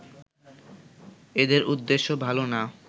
এদের উদ্দেশ্য ভালো না